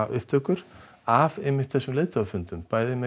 upptökur af einmitt þessum leiðtogafundum bæði með